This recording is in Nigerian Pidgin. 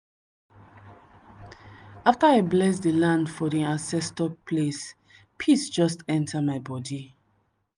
after i bless di land for di ancestor place peace just enter my body.